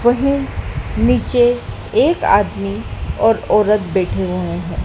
वहीं नीचे एक आदमी और औरत बैठे हुए हैं।